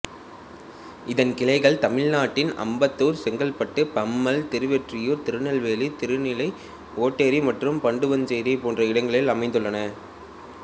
இதன் கிளைகள் தமிழ்நாட்டின் அம்பத்தூர் செங்கல்பட்டு பம்மல் திருவொற்றியூர் திருநெல்வேலி திருநீலை ஓட்டேரி மற்றும் பண்டுவன்சேரி போன்ற இடங்களில் அமைந்துள்ளன